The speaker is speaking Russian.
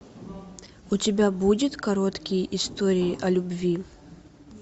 у тебя будет короткие истории о любви